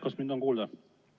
Kas mind on kuulda?